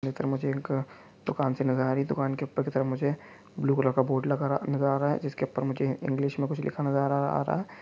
जेकर मुझे इनका दुकान सी नज़र आ रही हैं दुकान के ऊपर की तरफ मुझे ब्लू कलर का बोर्ड लगा नज़र आ रहा है जिसके ऊपर मुझे इंग्लिश में कुछ लिखा नज़र अ आ रहा है।